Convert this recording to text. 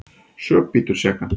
Sök bítur sekan.